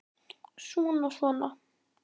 Svona. svona